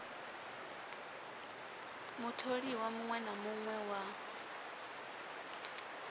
mutholiwa muṋwe na muṋwe wa